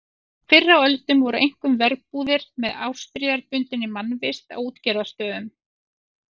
Fyrr á öldum voru einkum verbúðir með árstíðabundinni mannvist á útgerðarstöðum.